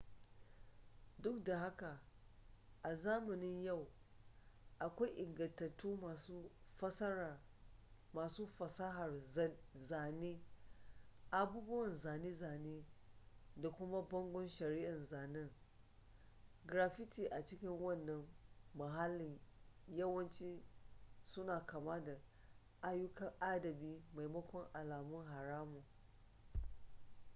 duk da haka a zamanin yau akwai ingantattun masu fasahar zane abubuwan zane-zane da kuma bangon shari'a zanen graffiti a cikin wannan mahallin yawanci suna kama da ayyukan adabi maimakon alamun haramun